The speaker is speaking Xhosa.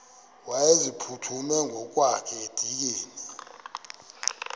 wayeziphuthume ngokwakhe edikeni